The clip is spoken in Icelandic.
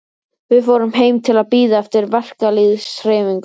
Við fórum heim til að bíða eftir verkalýðshreyfingunni.